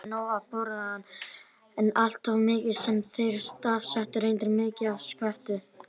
Þeir fengju nóg að borða, en alltof mikið- sem þeir stafsettu reyndar migið- af skötu.